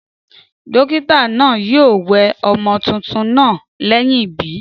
Dókítà naa yio we ọmọ tuntun naa léyìn ìbí